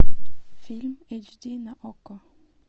фильм эйч ди на окко